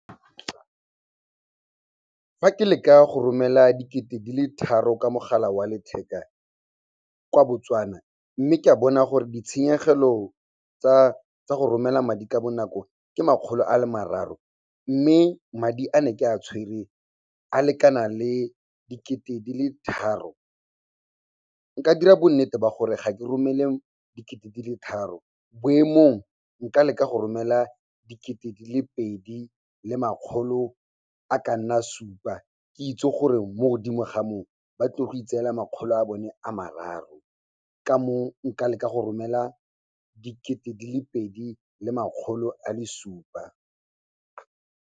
Fa ke leka go romela dikete di le tharo ka mogala wa letheka kwa Botswana, mme ke a bona gore ditshenyegelo tsa go romela madi ka bonako ke makgolo a le mararo, mme madi a ne ke a tshwere a lekana le dikete di le tharo, nka dira bonnete ba gore ga ke romele dikete di le tharo. Boemong, nka leka go romela dikete di le pedi le makgolo a ka nna supa, ke itse gore mo godimo ga moo ba tlo go itseela makgolo a bone a mararo. Ka moo nka leka go romela dikete di le pedi le makgolo a le supa.